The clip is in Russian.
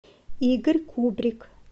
игорь кубрик